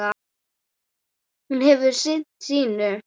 Hún hefur sinnt sínu.